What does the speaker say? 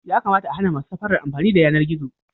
Yakamata a hana masu safara amfani da yanar gizo.